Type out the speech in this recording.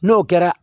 N'o kɛra